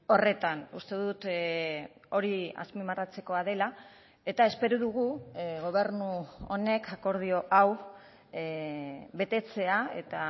horretan uste dut hori azpimarratzekoa dela eta espero dugu gobernu honek akordio hau betetzea eta